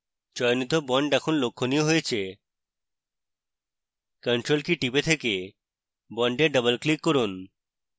চয়নিত bond এখন লক্ষণীয় হয়েছে ctrl key টিপে থেকে bond double click করুন